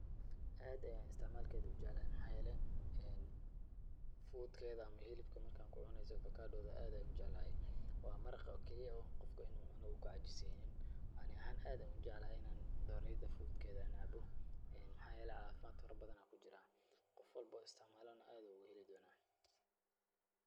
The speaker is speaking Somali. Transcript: Aad ayaan istacmaalkeeda ujeclahay maxaa yeelay fuudkeeda ama hilibkeeda marka aad ku cunayso avokaadhoda aad ayaan ujeclahay. Waa maraqa keli ah oo qofka in uu cuno uu ku cajiisaynin. Ani ahaan aad ayaan ujeclahay in aan dhoorayda fuudkeeda aan cabo maxaa yeelay caafimad farabadan ayaa ku jiraa. Qof walbo oo istacmaalana, aad ayuu ugu heli doona.